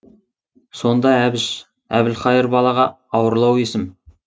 сонда әбіш әбілхайыр балаға ауырлау есім